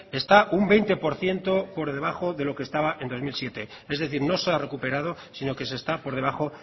está un veinte por ciento por debajo de lo que estaba en dos mil siete es decir no se ha recuperado sino que se está por debajo